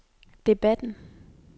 debatten